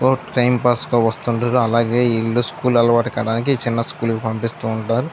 Time pass కి వస్తుంటారు అలాగే ఈ వీళ్ళు స్కూల్ అలవాటు అవ్వడానికి ఈ చిన్న స్కూల్ కి పంపిస్తుంటారు.